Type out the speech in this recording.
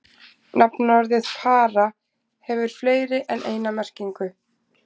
Nafnorðið para hefur fleiri en eina merkingu.